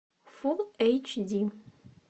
фул эйч ди